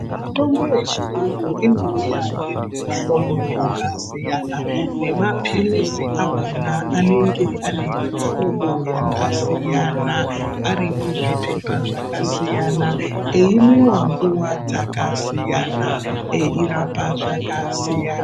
Mitombo yechiyungu inouya iri mumihlobo yakasiyana nemapilizi akona anenge ari mumihlobo yakasiyana ari muzvipepa zvakasiyana aimwiwa nguwa dzakasiyana eirapa zvakasiyana.